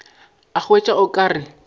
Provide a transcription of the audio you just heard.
a hwetša o ka re